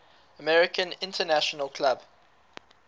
american international club